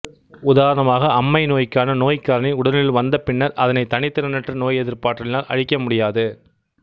உதாரணமாக அம்மை நோய்க்கான நோய்க்காரணி உடலினுள் வந்த பின்னர் அதனை தனித்திறனற்ற நோய் எதிர்ப்பாற்றலினால் அழிக்க முடியாது